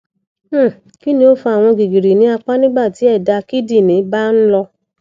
um kini o fa awọn gígìrì ni apa nigba ti ẹdá kídìní ba nlọ